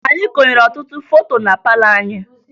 Anyị konyere ọtụtụ foto na palọ anyị